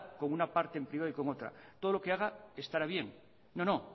con una parte en privado y con otra todo lo que haga estará bien no